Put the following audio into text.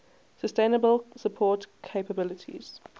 sustainable support capabilities